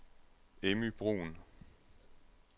Emmy Bruhn